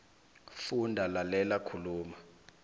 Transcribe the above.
funda lalela khuluma